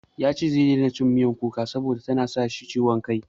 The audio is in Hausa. Ya ce zai daina cin miyan kuka saboda ya na sa shi ciwon ciki.